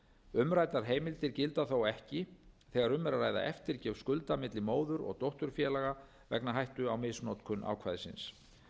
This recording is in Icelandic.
umræddar heimildir gilda þó ekki þegar um er að ræða eftirgjöf skuldar milli móður og dótturfélaga vegna hættu á misnotkun ákvæðisins